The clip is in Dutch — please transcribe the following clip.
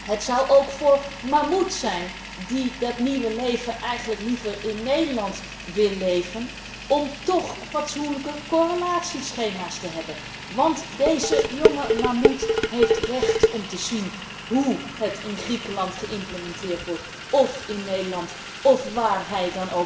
Het zou ook voor Mamuth zijn die dat nieuwe leven eigenlijk liever in Nederland wil leven, om toch fatsoenlijke correlatieschema's te hebben, want deze jonge Mamuth heeft recht om te zien hoe een en ander in Griekenland geïmplementeerd wordt, of in Nederland, of daar waar hij